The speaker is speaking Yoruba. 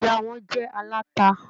Ìyá wọn jẹ́ aláta.